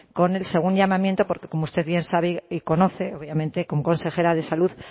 con el segundo llamamiento porque como usted bien sabe y conoce obviamente como consejera de salud